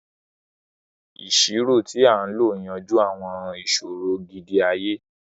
Iṣiro ti a lo n yanju awọn iṣoro gidi-aye,